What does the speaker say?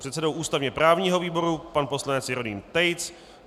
předsedou ústavně-právního výboru pan poslanec Jeroným Tejc,